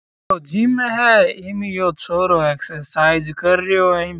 ओ gym में है इंमियो छोरो एक्ससरसीज़ करियो है।